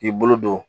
K'i bolo don